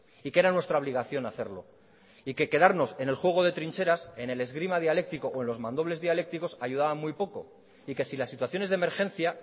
y que era nuestra obligación hacerlo y que quedarnos en el juego de trincheras en el esgrima dialécticos o en los mandobles dialécticos ayudaba muy poco y que si la situación es de emergencia